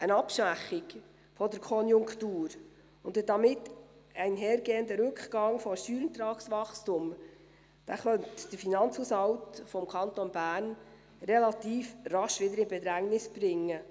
Eine Abschwächung der Konjunktur und ein damit einhergehender Rückgang des Steuerertragswachstums könnte den Finanzhaushalt des Kantons Bern relativ rasch wieder in Bedrängnis bringen.